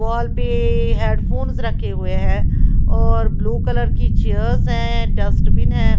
वाल पे ए ए हेडफोन्स रखे हुए है और ब्लू कलर की चेयर्स हैं डस्टबिन हैं।